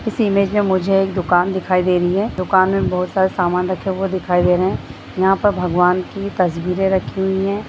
इस इमेज में मुझे एक दुकान दिखाई दे रही है दुकान में बोहोत सारा सामान रखा हुआ दिखाई दे रहे हैं यहाँ पर भगवान की तस्वीरें रखी हुयी हैं।